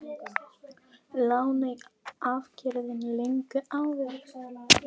Lánin afgreidd löngu áður